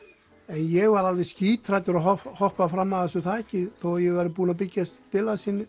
ég var alveg skíthræddur að hoppa fram af þessu þaki þó að ég væri búinn að byggja